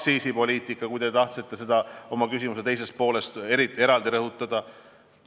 Nüüd aktsiisipoliitika, mida te tahtsite oma küsimuse teises pooles eraldi rõhutada.